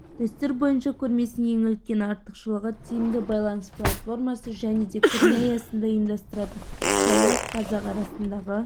дәстүр бойынша көрмесінің ең үлкен артықшылығы тиімді байланыс платформасы және де көрме аясында ұйымдастыратын поляк-қазақ арасындағы